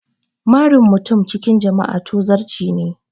Marin mutum cikin jama'a tozarci ne